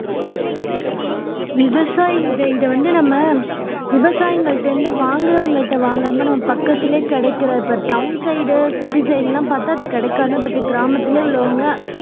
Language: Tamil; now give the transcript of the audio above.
விவசாயி இதை இதை வந்து நம்ம விவசாயிங்ககிட்ட இருந்து வாங்குறவங்ககிட்ட வாங்காம நம்ம பக்கத்திலேயே கிடைக்கிற இப்ப டவுன் சைடு சிட்டி சைடு எல்லாம் பார்த்தா அது கிடைக்காது பட் கிராமத்திலே உள்ளவங்க